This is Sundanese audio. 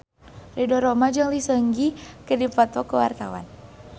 Ridho Roma jeung Lee Seung Gi keur dipoto ku wartawan